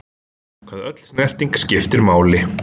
Hvað öll snerting skiptir máli.